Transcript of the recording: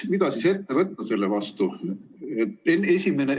Mida siis ette võtta selle vastu?